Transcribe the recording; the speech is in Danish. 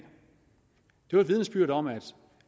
jo et vidnesbyrd om at